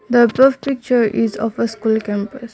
the above picture is of a school campus.